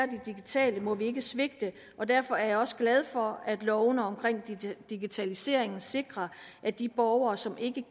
digitale må vi ikke svigte og derfor er jeg også glad for at lovene omkring digitaliseringen sikrer at de borgere som ikke